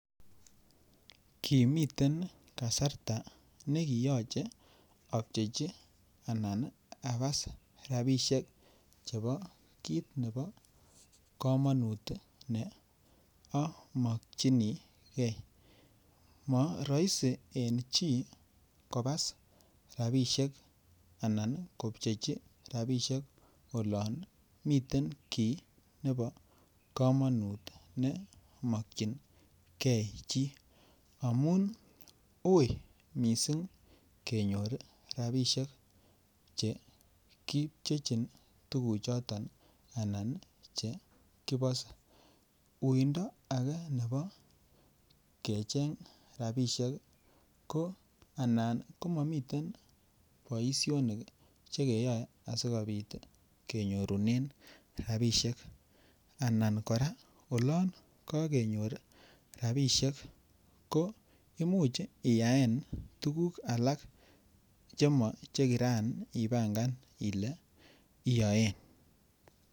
Kimiten kasarta nekiyoche abchechi anan abas rabisiek chebo kit nebo komonut ne amokyingei moroisi en chi kobas rabisiek anan kobchechi olon miten kit nebo komonut ne. mokyingei chi amun uui mising kenyor rabisiek Che kipchechin tuguchoto anan Che kibose uuindo age nebo rabisiek ko anan ko momiten boisionik Che keyoe asi kenyorunen rabisiek anan kora oloon kokenyor rabisiek ko Imuch iyaen tuguk alak Che moche Kiran ibangan ile iyoen